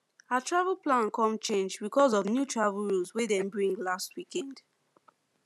our travel plan come change because of new travel rules wey dem bring last weekend